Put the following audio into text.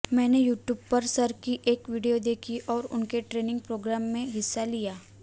मैंने यूट्यूब पर सर की एक वीडियो देखी और उनके ट्रेनिंग प्रोग्राम में हिस्सा लिया